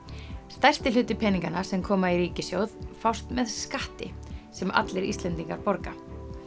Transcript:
stærsti hluti peninganna sem koma í ríkissjóð fást með skatti sem allir Íslendingar borga